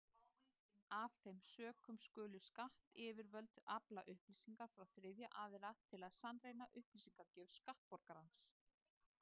Af þeim sökum skulu skattyfirvöld afla upplýsinga frá þriðja aðila til að sannreyna upplýsingagjöf skattborgarans.